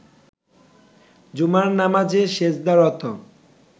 জুমার নামাজে সেজদারত